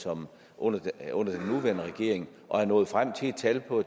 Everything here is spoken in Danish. under den nuværende regering og er nået frem til et tal på